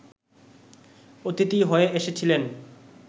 অতিথি হয়ে এসেছিলেন